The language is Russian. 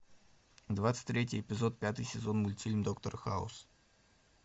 двадцать третий эпизод пятый сезон мультфильм доктор хаус